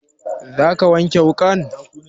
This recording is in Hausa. Za ka wanke wuƙan?